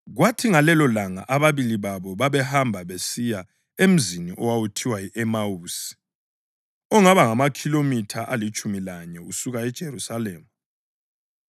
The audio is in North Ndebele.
Kwathi ngalelolanga ababili babo babehamba besiya emzini owawuthiwa yi-Emawusi, ongaba ngamakhilomitha alitshumi lanye usuka eJerusalema.